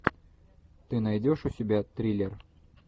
ты найдешь у себя триллер